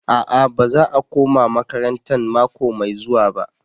A'a baza a koma makarantan mako mai zuwa ba.